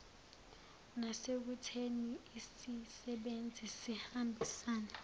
nasekutheni isisebenzi sihambisane